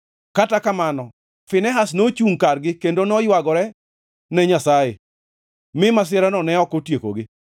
Kata kamano Finehas nochungʼ kargi kendo noywagore ne Nyasaye, mi masirano ne ok otiekogi.